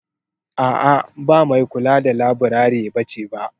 A' a ba mai kula da laburare bace ba.